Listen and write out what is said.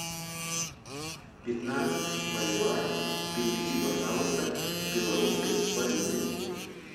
пятнадцать боливаров переведи пожалуйста в белорусской валюты